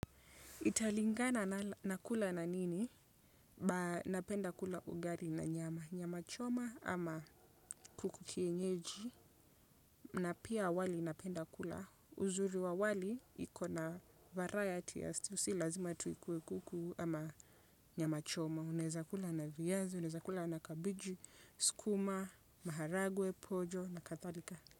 Italingana na kula na nini, napenda kula ugali na nyama, nyama choma ama kuku kienyeji na pia wali napenda kula uzuri wa wali ikona varayati si lazima tu ikuwe kuku ama nyama choma, uneza kula na viazi, uneza kula na kabiji, skuma, maharagwe, pojo na kadhalika.